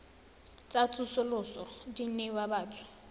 tsa tsosoloso di newa batho